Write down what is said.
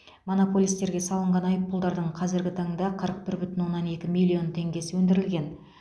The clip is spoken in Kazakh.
монополистерге салынған айыппұлдардың қазіргі таңда қырық бір бүтін оннан екі миллион теңгесі өндірілген